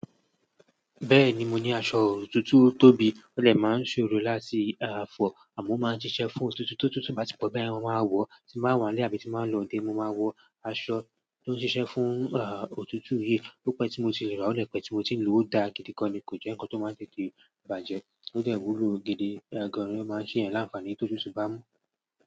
Bẹ́ẹ̀ni mo ní aṣọ òtútù tóbi, ó dẹ̀ máa ń ṣòro láti fọ̀ àmọ́ máa ń ṣiṣẹ́ fún òtútù tó tútù bá ti pọ̀ bẹ́ẹ̀ ni mo máa wọ̀, tí n bá wà ní ilé àbí tí n bá ń lọ odé, mo máa wọ aṣọ tó ń ṣiṣẹ́ fún, òtútù yìí. Ó pẹ́ tí mo ti rà ọ́ dé pẹ́ tí mo ti ń lò ó dáa gidi kan ni kò jẹ́ nǹkan tó máa tètè bàjẹ́. Ó dè wúlò gidi, ga ni ó máa ń ṣe ẹ́yan láǹfààní tó tútù bá mú.